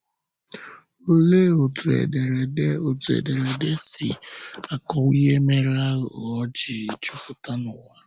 Òlee otú ederede otú ederede si akọwa ihe mere àghụ̀ghọ̀ ji jupụta n'ụwa?